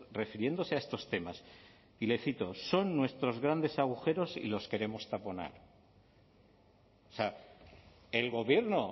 refiriéndose a estos temas y le cito son nuestros grandes agujeros y los queremos taponar o sea el gobierno